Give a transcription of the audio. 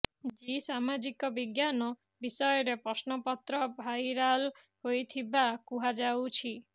G ସାମାଜିକ ବିଜ୍ଞାନ ବିଷୟର ପ୍ରଶ୍ନପତ୍ର ଭାଇରାଲ ହୋଇଥିବା କୁହାଯାଉଛି